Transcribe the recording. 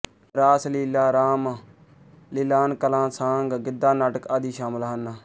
ਰਾਸ ਲੀਲਾ ਰਾਮ ਲੀਲਾਨਕਲਾਂਸਾਂਗ ਗਿੱਧਾ ਨਾਟਕ ਆਦਿ ਸ਼ਾਮਲ ਹਨ